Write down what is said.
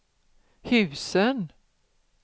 husen